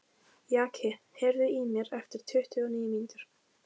Jaki, heyrðu í mér eftir tuttugu og níu mínútur.